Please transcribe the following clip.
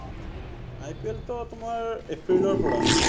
IPL টো তোমাৰ এপ্ৰিলৰ পৰা